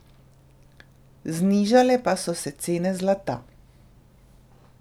Znižale pa so se cene zlata.